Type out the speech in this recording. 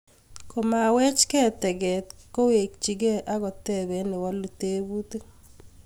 Komawechkei to get, kowechkei akotoben newolu tebutik